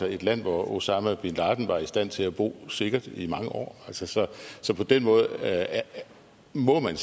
er et land hvor osama bin laden var i stand til at bo sikkert i mange år altså så så på den måde må man